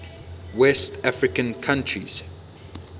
west african countries